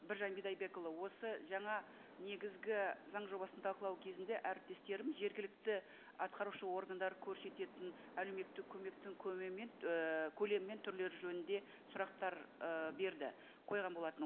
біржан бидайбекұлы осы жаңа негізгі заң жобасын талқылау кезінде әріптестерім жергілікті атқарушы органдар көрсететін әлеуметтік көмектің ііі көлемі мен түрлері жөнінде сұрақтар ы берді қойған болатын